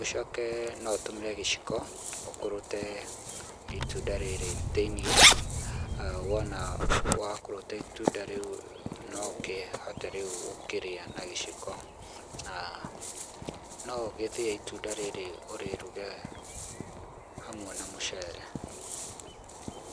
ũcoke no ũtũmĩre gĩciko, ũkũrũte itunda rĩrĩ thĩiniĩ, wona wakũrũta itunda rĩu no ũkĩhote rĩũ gũkĩrĩa na gĩciko, no ũgĩthĩe itunda rĩrĩ ũrĩruge hamwe na mũcere.